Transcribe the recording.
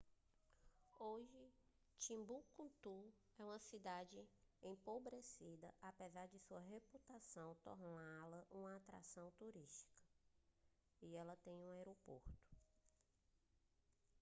hoje timbuktu é uma cidade empobrecida apesar de sua reputação torná-la uma atração turística e ela tem um aeroporto